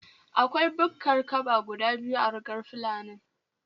Akwai bukkar kaba guda biyu a rugar fulanin